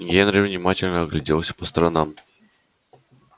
генри внимательно огляделся по сторонам и покачал головой